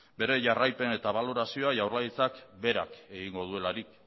bere jarraipen eta balorazioa jaurlaritzak berak egingo duelarik